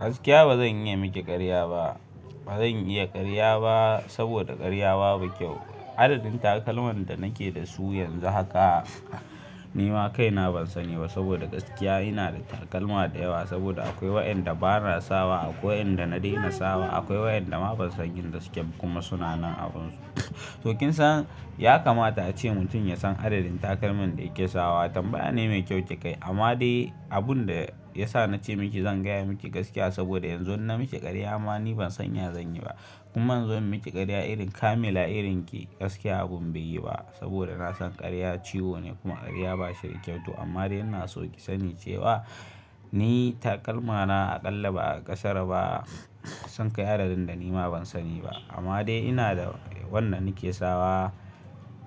Gaskiya ba zan iya miki karya ba. Ba zan iya karya ba saboda karya babu kyau. Adadin takalman da nake da su yanzu haka ni ma kaina ban sani ba saboda gaskiya ina da takalma da yawa saboda akwai waɗanda bana sawa, akwai wa inda na daina sawa, akwai waɗanda ma ban san inda suke kuma sunanan abunsu. To kin san ya kamata ace mutum ya san adadin takalman da yake sawa tambaya ne mai kyau kika yi. Amma dai abun da ya sa na ce miki zan gaya miki gaskiya saboda yanzu in na miki karya ma ni ban sanya zan yi ba. Kuma in zo in miki karya irin kamila irinki gaskiya abun bai yi ba saboda na san karya ciwo ne kuma karya ba shi da kyau. To amma dai ina so ki sani cewa ni takalmana aƙalla ba a ƙasara ba sun kai adadin da ni ma ban sani ba. Amma dai ina da wanda nake sawa